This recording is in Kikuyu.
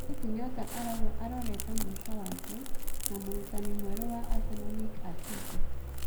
Thaici Nyota arauga arorete mũico wake na mũratani mwerũ wa Aseno Mick Atito.